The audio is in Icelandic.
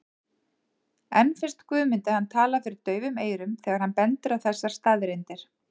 En finnst Guðmundi hann tala fyrir daufum eyrum þegar hann bendir á þessar staðreyndir?